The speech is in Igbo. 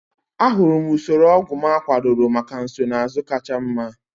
Ahụrụ m usoro ọgwụ m akwadoro maka nsonaazụ kacha mma.